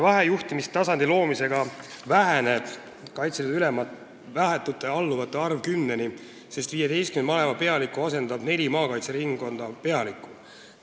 Vahejuhtimistasandi loomisega väheneb Kaitseliidu ülema vahetute alluvate arv 10-ni, sest 15 malevapealikku asendub nelja maakaitseringkonna pealikuga.